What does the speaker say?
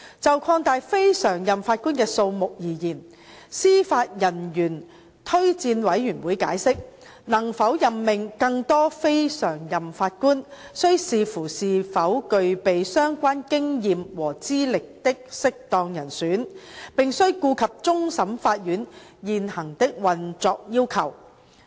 就擴大非常任法官的數目而言，司法人員推薦委員會解釋，能否任命更多非常任法官，須視乎是否有具備相關經驗和資歷的適當人選，並須顧及終審法院現行的運作要求。